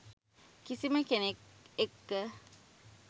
කිසිම කෙනෙක් එක්ක